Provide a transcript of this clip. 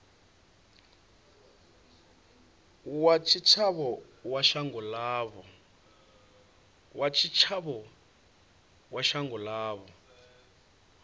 wa tshitshavha wa shango ḽavho